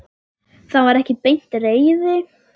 Það var ekki beint reiði.